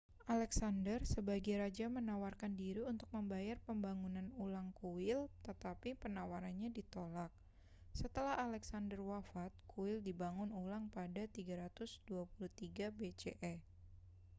alexander sebagai raja menawarkan diri untuk membayar pembangunan ulang kuil tetapi penawarannya ditolak setelah alexander wafat kuil dibangun ulang pada 323 bce